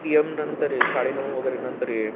P. M. नंतर ये, साडे नऊ वगैरे नंतर ये